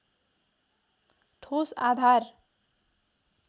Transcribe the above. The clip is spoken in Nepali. ठोस आधार